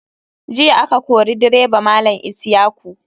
Jiya a ka kori direba malam isyaku.